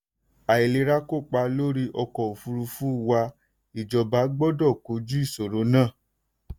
àìlerà kópa lórí ọkọ̀ òfurufú wà ìjọba gbọ́dọ̀ kojú ìṣòro náà.